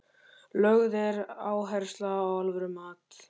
Lögð er áhersla á alvöru mat.